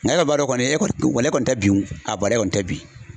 Nka e kɔni b'a dɔn kɔni e kɔni tɛ bin a bɔrɛ kɔni tɛ bin